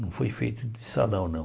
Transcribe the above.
Não foi feito em salão, não.